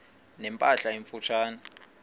ne mpahla emfutshane